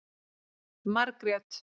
Margrét